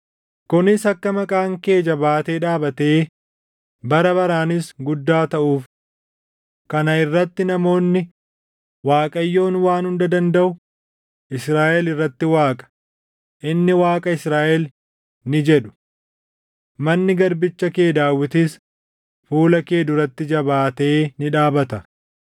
kunis akka maqaan kee jabaatee dhaabatee, bara baraanis guddaa taʼuuf. Kana irratti namoonni, ‘ Waaqayyoon Waan Hunda Dandaʼu, Israaʼel irratti Waaqa; inni Waaqa Israaʼel!’ ni jedhu. Manni garbicha kee Daawitis fuula kee duratti jabaatee ni dhaabata.